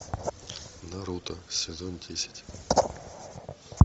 наруто сезон десять